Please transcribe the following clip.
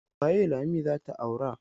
Waye Lami za ta aura?